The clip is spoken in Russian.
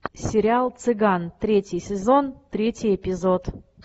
сериал цыган третий сезон третий эпизод